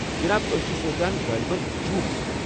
جناب، أسۍ چھِ سونچان غٲلبن جوٗنس منٛز؟